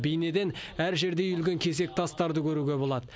бейнеден әр жерде үйілген кесек тастарды көруге болады